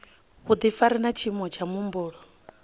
vhudifari na tshiimo tsha muhumbulo